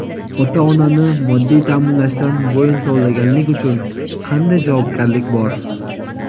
Ota-onani moddiy taʼminlashdan bo‘yin tovlaganlik uchun qanday javobgarlik bor?.